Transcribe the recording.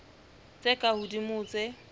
tse ka hodimo ho tse